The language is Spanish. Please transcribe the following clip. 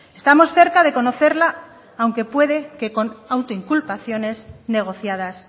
estamos cerca de conocerla aunque puede que con autoinculpaciones negociadas